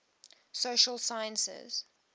social sciences